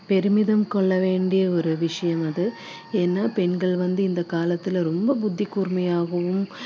பெருமிதம் கொள்ள வேண்டிய ஒரு விஷயம் அது ஏன்னா பெண்கள் வந்து இந்த காலத்துல ரொம்ப புத்தி கூர்மையாகவும்